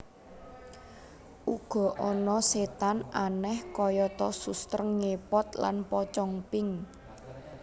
Uga ana setan aneh kayata suster ngepot lan pocong pink